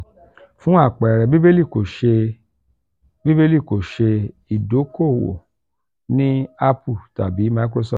fun apẹẹrẹ bíbélì ko ṣe bíbélì kò ṣe ìdókòwò ní apple tabi microsoft.